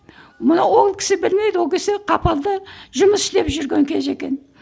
мұны ол кісі білмейді ол кісі қапалда жұмыс істеп жүрген кезі екен